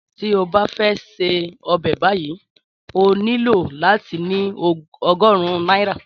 Tí o bá fẹ́ ṣè ọbẹ̀ báyìí ó nílò láti ní ogórùn náírà